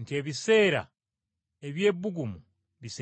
nti ebiseera eby’ebbugumu binaatera okutuuka.